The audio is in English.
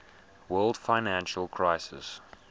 world financial crisis